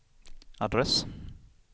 adress